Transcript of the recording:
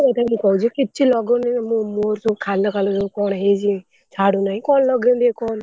ସତ କଥା, ମୁଁ କହୁଛି କିଛି ଲଗଉନି, ମୋ ମୁହଁରେ ସବୁ ଖାଲ ଖାଲ କଣ ହେଇଛି ଛାଡୁନାହିଁ, କଣ ଲଗେଇମି ଟିକେ କହନି।